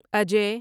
اجے